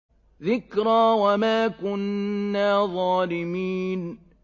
ذِكْرَىٰ وَمَا كُنَّا ظَالِمِينَ